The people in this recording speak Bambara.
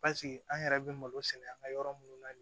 an yɛrɛ bɛ malo sɛnɛ an ka yɔrɔ minnu na